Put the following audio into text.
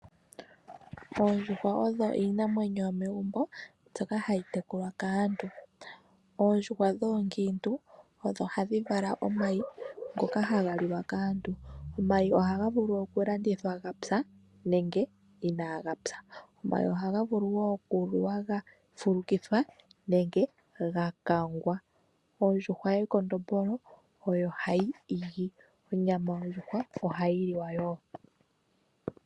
Oondjuhwa odho iinamwenyo yomegumbo, mbyoka hayi tekulwa kaantu. Oondjuhwa oonkiintu odho hadhi vala omayi ngoka haga liwa kaantu. Omayi ohaga vulu okulandithwa ga pya nenge inaaga pya. Omayi ohaga vulu wo okuliwa ga fulukithwa nenge ga kangwa. Ondjuhwa yekondombolo oyo hayi igi. Onyama yondjuhwa ohayi liwa woo.